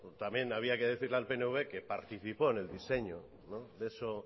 también habría que decirle al pnv que participó en el diseño de eso